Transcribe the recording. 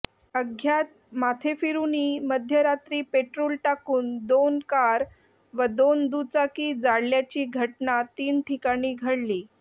अज्ञात माथेफिरूंनी मध्यरात्री पेट्रोल टाकून दोन कार व दोन दुचाकी जाळल्याची घटना तीन ठिकाणी घडली